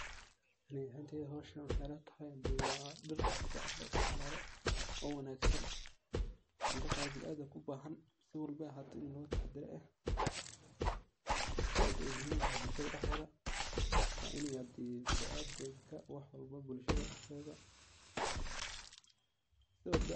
Aniga ahanteyda howshan waxay ila tahay waa dhir si fican loo isticmalo oo aad u wanagsan marar qaar biniadamka u bahan oo aad ini loga tahadaro eh. Zaid ayey muhim u tahay bulshada dexdedha wa ini hade biniadamka wax walbo bulshada dexdedha si walba ay ahato.